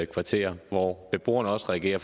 kvarterer hvor beboerne også reagerer